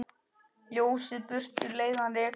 Ljósið burtu leiðann rekur.